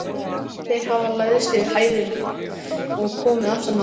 Þeir hafa læðst yfir heiðina og komið aftan að honum.